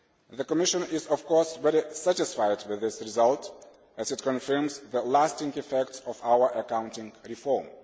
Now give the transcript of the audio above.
The Commission is, of course, very satisfied with this result as it confirms the lasting effects of our accounting reform.